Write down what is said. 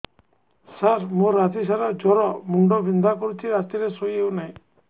ସାର ମୋର ରାତି ସାରା ଜ୍ଵର ମୁଣ୍ଡ ବିନ୍ଧା କରୁଛି ରାତିରେ ଶୋଇ ହେଉ ନାହିଁ